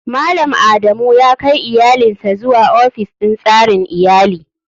Malam adamu yakai iyalinsa zuwa ofis din tsarin iyali.